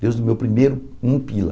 Desde o meu primeiro, um pila.